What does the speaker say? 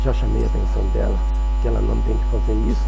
Já chamei a atenção dela, que ela não tem que fazer isso.